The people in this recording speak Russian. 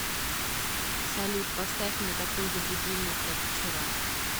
салют поставь мне такой же будильник как вчера